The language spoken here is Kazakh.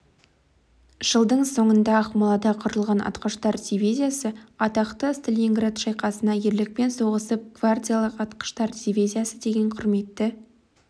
жылдың соңында ақмолада құрылған атқыштар дивизиясы атақты сталинград шайқасында ерлікпен соғысып гвардиялық атқыштар дивизиясы деген құрметті